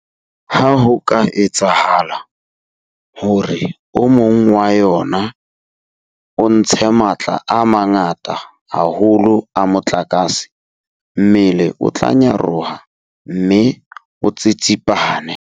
Ha ho ka etsahala hore o mong wa yona o ntshe matla a mangata haholo a motlakase, mmele o tla nyaroha mme o tsitsipane.